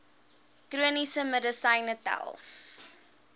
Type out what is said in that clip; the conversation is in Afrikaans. chroniese medisyne tel